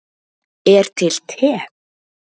er til te